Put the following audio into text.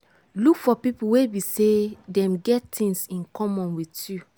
look for pipo wey be sey them get things in common with you